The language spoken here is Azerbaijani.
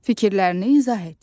Fikirlərini izah et.